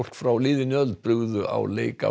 frá liðinni öld brugðu á leik á